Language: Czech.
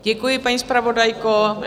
Děkuji, paní zpravodajko.